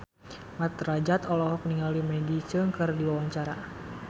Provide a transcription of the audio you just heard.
Mat Drajat olohok ningali Maggie Cheung keur diwawancara